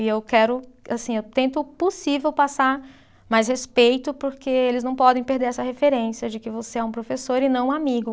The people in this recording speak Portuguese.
E eu quero, assim, eu tento o possível passar mais respeito porque eles não podem perder essa referência de que você é um professor e não um amigo.